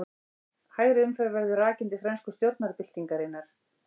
Hægri umferð verður rakin til frönsku stjórnarbyltingarinnar.